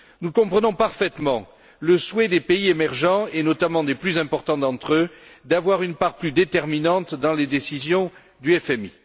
Nous comprenons parfaitement le souhait des pays émergents et notamment des plus importants d'entre eux d'avoir une part plus déterminante dans les décisions du FMI.